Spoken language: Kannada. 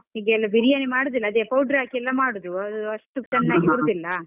ಹೀಗೆಲ್ಲ ಬಿರಿಯಾನಿ ಮಾಡುದಿಲ್ಲ ಅದೆ powder ಹಾಕಿ ಎಲ್ಲ ಮಾಡುದು, ಅದು ಅಷ್ಟು ಬರುದಿಲ್ಲ.